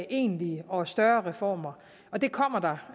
egentlige og større reformer og det kommer der